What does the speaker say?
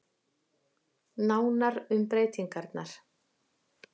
Nánar um breytingarnar